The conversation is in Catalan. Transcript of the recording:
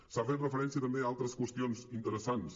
s’ha fet referència també a altres qüestions interessants